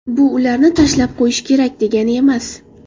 Bu ularni tashlab qo‘yish kerak, degani emas.